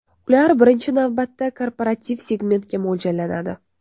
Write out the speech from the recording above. Ular, birinchi navbatda, korporativ segmentga mo‘ljallanadi.